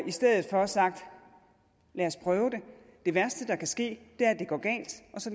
i stedet for har sagt lad os prøve det det værste der kan ske